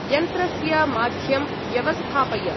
यन्त्रस्य माध्यं व्यवस्थापय।